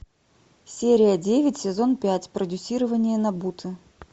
серия девять сезон пять продюсирование нобуты